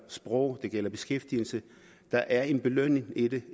sprog eller beskæftigelse der er en belønning i det